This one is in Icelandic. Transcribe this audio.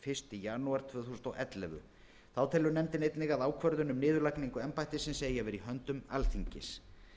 janúar tvö þúsund og ellefu þá telur nefndin einnig að ákvörðun um niðurlagningu embættisins eigi að vera í höndum alþingis